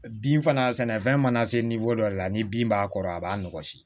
Bin fana sɛnɛfɛn mana se dɔ de la ni bin b'a kɔrɔ a b'a nɔgɔsi